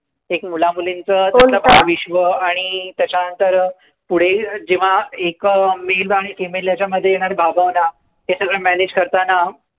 एक मुलामुलींचं भावविश्व, आणि त्याच्यानंतर पुढे जेंव्हा पुढे जेंव्हा एका male आणि female यांच्यामध्ये येणाऱ्या भावभावना याला manage करताना